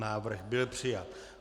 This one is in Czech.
Návrh byl přijat.